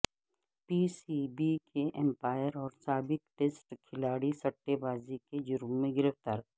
پی سی بی کے امپائر اور سابق ٹیسٹ کھلاڑی سٹے بازی کے جرم میں گرفتار